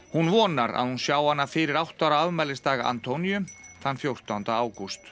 hún vonar að hún sjái hana fyrir átta ára afmælisdag Antóníu fjórtánda ágúst